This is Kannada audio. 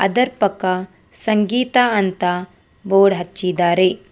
ಅದರ್ ಪಕ್ಕ ಸಂಗೀತ ಅಂತ ಬೋರ್ಡ್ ಅಚ್ಚಿದರೆ.